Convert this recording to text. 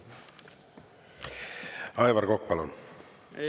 Aivar Kokk, palun!